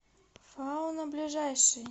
фауна ближайший